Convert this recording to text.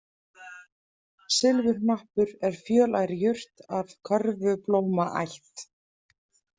Silfurhnappur er fjölær jurt af körfublómaætt.